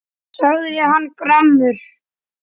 sagði hann gramur.